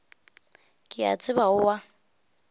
ke a tseba o a